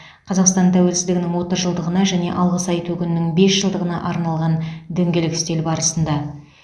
қазақстан тәуелсіздігінің отыз жылдығына және алғыс айту күнінің бес жылдығына арналған дөңгелек үстел барысында